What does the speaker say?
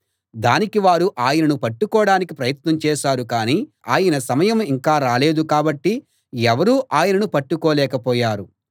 దానికి వారు ఆయనను పట్టుకోడానికి ప్రయత్నం చేశారు కానీ ఆయన సమయం ఇంకా రాలేదు కాబట్టి ఎవరూ ఆయనను పట్టుకోలేకపోయారు